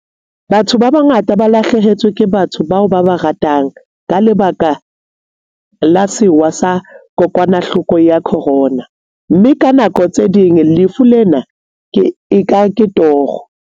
Batho ba bangata ba lahlehetswe ke batho bao ba ba ratang ka lebaka la sewa sa kokwanahloko ya khorona, mme ka nako tse ding lefu lena e ka toro.